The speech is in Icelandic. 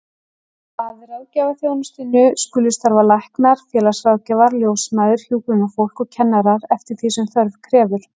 Að ráðgjafaþjónustunni skulu starfa læknar, félagsráðgjafar, ljósmæður, hjúkrunarfólk og kennarar, eftir því sem þörf krefur.